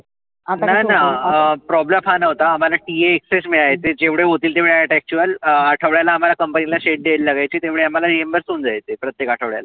नाही ना अं problem हा नव्हता आम्हाला TA extra मिळायचे. जेव्हढे होतील तेव्हढे actual अं आठवड्याला आम्हाला company ला द्यावी लागायची. तेव्हढे आम्हाला reambus होऊन जायचे प्रत्येक आठवड्याला.